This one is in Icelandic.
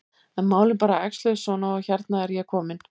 En málin bara æxluðust svona og hérna er ég komin.